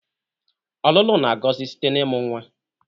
ọlụlụ na-agọzi site na ịmụ nwa